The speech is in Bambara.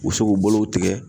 U be se k'u bolow tigɛ